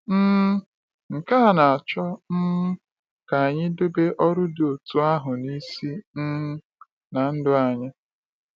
um Nke a na-achọ um ka anyị debe ọrụ dị otú ahụ n’isi um na ndụ anyị.